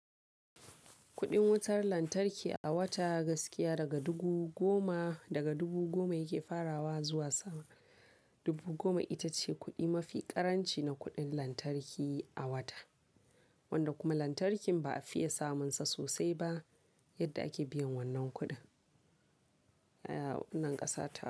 Kuɗin wutar lantarki a wata gaskiya daga dubu goma, daga dubu goma yake farawa zuwa sama dubu goma, ita ce kuɗi mafi ƙaranci na kuɗin lantarki a wata wanda kuma lantarki ba a fiye samun sa sosai ba yadda ake biyan wannan kuɗin a wannan ƙasa ta.